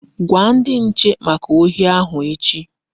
Gwa ndi nche maka ohi ahụ echi!